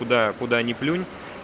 куда куда ни плюнь